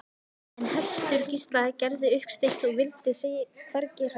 En hestur Gísla gerði uppsteyt og vildi sig hvergi hræra.